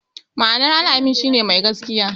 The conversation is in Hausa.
Ma'anar "Al-amin" shi ne "Mai gaskiya".